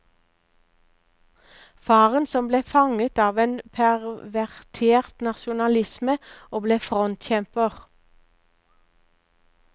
Faren som ble fanget av en pervertert nasjonalisme og ble frontkjemper.